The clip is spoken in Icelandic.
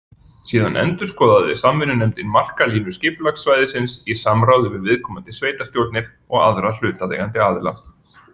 Síðan endurskoðaði samvinnunefndin markalínu skipulagssvæðisins í samráði við viðkomandi sveitarstjórnir og aðra hlutaðeigandi aðila.